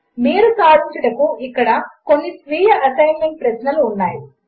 మీరు సాధించుటకు ఇక్కడ కొన్ని స్వీయ అసెస్మెంట్ ప్రశ్నలు ఉన్నాయి